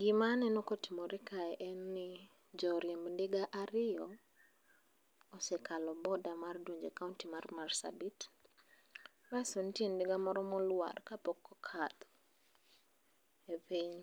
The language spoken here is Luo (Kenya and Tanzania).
Gima aneno kotimore kae en ni joriemb ndiga ariyo osekalo boarder mar donjo e boarder mar donjo e county marsabit asto nitie ndiga moro molwar kapok okadho